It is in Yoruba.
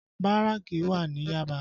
Báràkì wà ní Yaba